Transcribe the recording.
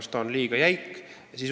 Ehk on see liiga jäik?